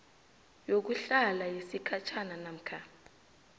yokuhlala yesikhatjhana namkha